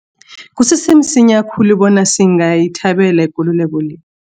Kusese msinya khulu bona singayithabela ikululeko le.